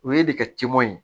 O ye de ka ciman ye